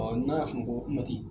n'a y'a sunɔkɔ